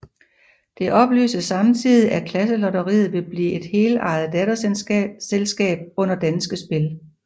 Det oplyses samtidig at Klasselotteriet vil blive et helejet datterselskab under Danske Spil